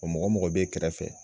Wa mɔgɔ mɔgɔ b'e kɛrɛfɛ